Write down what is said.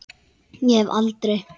Ég hef aldrei.